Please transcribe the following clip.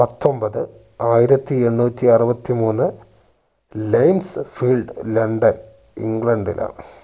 പത്തൊമ്പത് ആയിരത്തി എണ്ണൂറ്റി അറുപത്തിമൂന്ന് ലെയ്‌ൻസ്സ്ഫിൽഡ് ലണ്ടൺ ഇംഗ്ലണ്ടിലാണ്